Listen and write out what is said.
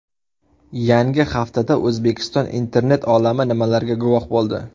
Yangi haftada O‘zbekiston internet olami nimalarga guvoh bo‘ldi?